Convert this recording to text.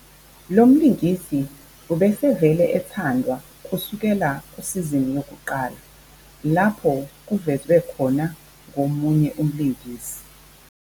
Lo mlingisi ubesevele ethandwa kusukela kusizini yokuqala, lapho bekuvezwe khona ngomunye umlingisi.